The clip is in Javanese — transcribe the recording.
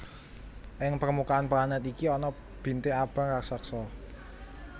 Ing permukaan planet iki ana bintik abang raksasa